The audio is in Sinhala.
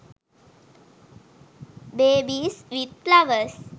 babies with flowers